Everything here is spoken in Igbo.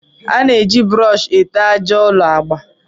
A na-eji brọọshị ete àjà ụlọ agba